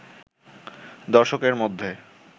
দর্শকের মধ্যে